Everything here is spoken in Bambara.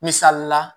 Misali la